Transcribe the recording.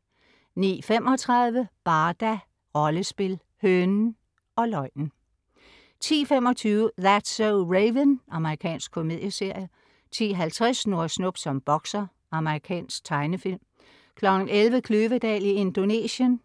09.35 Barda - Rollespil. Hønen, løgnen og 10.25 That's so Raven. Amerikansk komedieserie 10.50 Snurre Snup som bokser. Amerikansk tegnefilm 11.00 Kløvedal i Indonesien*